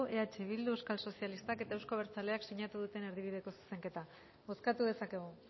eh bildu euskal sozialistak eta euzko abertzaleak sinatu duten erdibideko zuzenketa bozkatu dezakegu